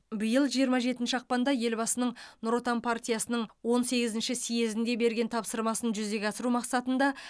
биыл жиырма жетінші ақпанда елбасының нұр отан партиясының он сегізінші съезінде берген тапсырмасын жүзеге асыру мақсатында